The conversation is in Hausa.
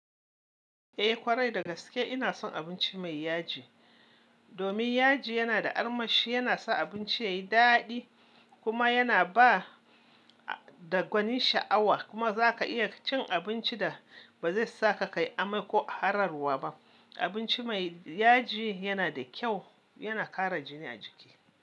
Eh ƙwarai, dagaske ina son abinci mai yaji. Domin yaji yana da armashi, yana sa abinci yayi dadi kuma yana ba da gwanin sha'awa. Kuma za ka iya cin abinci da ba zai saka kayi amai ko hararwa ba. Abinci mai yaji yana da kyau, yana kara jini a jiki.